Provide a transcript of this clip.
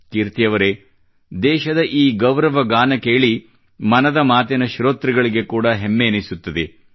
ಕೀರ್ತಿ ಅವರೆ ದೇಶದ ಈ ಗೌರವಗಾನ ಕೇಳಿ ಮನದ ಮಾತಿನ ಶ್ರೋತೃಗಳಿಗೆ ಕೂಡಾ ಹೆಮ್ಮೆ ಎನಿಸುತ್ತದೆ